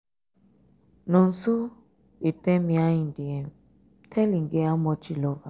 nonso um dey tell me how he dey um tell im girl how much he love am.